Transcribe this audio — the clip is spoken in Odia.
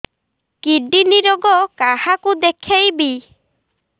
କିଡ଼ନୀ ରୋଗ କାହାକୁ ଦେଖେଇବି